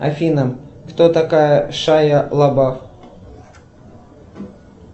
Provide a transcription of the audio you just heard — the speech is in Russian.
афина кто такая шайа лабаф